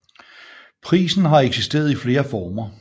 Prisen har eksisteret i flere former